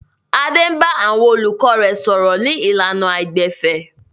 Adé bá àwọn olùkọ́ rẹ̀ sọ̀rọ̀ ní ìlànà àìgbẹ̀fẹ̀.